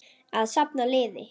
Að safna liði!